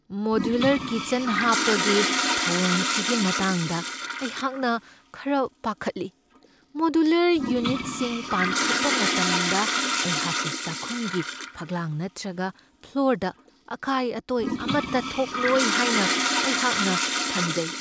Modular kitchen ꯍꯥꯞꯄꯒꯤ ꯊꯧꯑꯣꯡꯁꯤꯒꯤ ꯃꯇꯥꯡꯗ ꯑꯩꯍꯥꯛꯅ ꯈꯔ ꯄꯥꯈꯠꯂꯤ꯫ ꯃꯣꯗ꯭ꯌꯨꯂꯔ ꯌꯨꯅꯤꯠꯁꯤꯡ ꯄꯥꯟꯈꯠꯄ ꯃꯇꯝꯗ ꯑꯩꯍꯥꯛꯀꯤ ꯆꯥꯛꯈꯨꯝꯒꯤ ꯐꯛꯂꯥꯡ ꯅꯠꯇ꯭ꯔꯒ ꯐ꯭ꯂꯣꯔꯗ ꯑꯀꯥꯏ ꯑꯇꯣꯏ ꯑꯃꯇ ꯊꯣꯛꯂꯣꯏ ꯍꯥꯏꯅ ꯑꯩꯍꯥꯛꯅ ꯈꯟꯖꯩ ꯫